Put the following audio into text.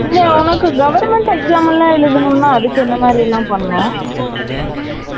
இந்த உனக்கு government exam லாம் எழுதனும் னா அதுக்கு எந்த மாதிரிலாம் பண்ணனும்